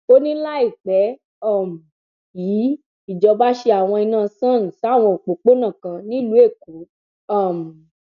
ó ní láìpẹ um yìí ìjọba ṣe àwọn iná sọn sáwọn òpópónà kan nílùú èkó um